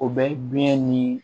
O bɛ biɲɛ ni